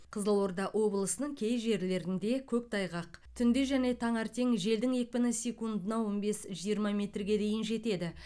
қызылорда облысының кей жерлерінде көктайғақ түнде және таңертең желдің екпіні секундына он бес жиырма метрге дейін жетеді